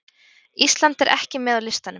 Ísland er ekki með á listanum